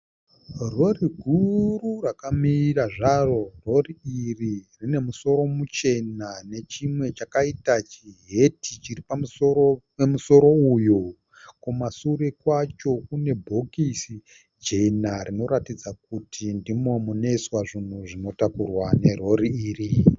Rori guru rakamira zvaro. Rori iri rine musoro muchena nechimwe chakaita sechiheti chiri pamusoro pemusoro uyu. Kumashure kwacho kune bhokisi jena rinoratidza kuti ndimo munoiswa zvinhu zvinotakurwa nerori iri.